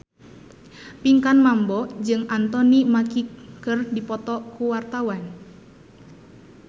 Pinkan Mambo jeung Anthony Mackie keur dipoto ku wartawan